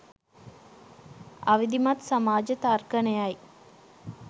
අවිධිමත් සමාජ තර්කනයයි